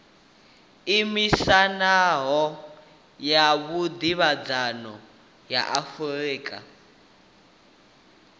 iimisaho ya vhudavhidzano ya afurika